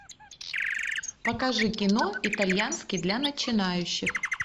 покажи кино итальянский для начинающих